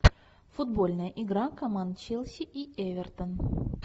футбольная игра команд челси и эвертон